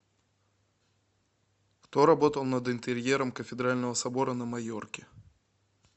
кто работал над интерьером кафедрального собора на майорке